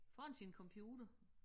Foran sin computer